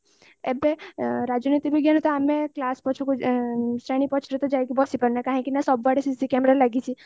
ଏବେ ରାଜନୀତି ବିଜ୍ଞାନ ତ ଆମେ class ଶ୍ରେଣୀ ପଛପଟକୁ ଯାଇକି ବସିପରୁନେ କହିକି ନା ସବୁଆଡେ cc camera ଲାଗିଛି